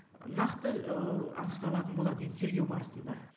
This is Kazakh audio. нақты анықталатын болады енді тергеу барысында